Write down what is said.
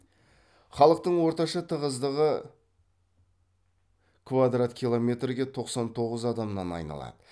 халықтың орташа тығыздығы квадрат километрге тоқсан тоғыз адамнан айналады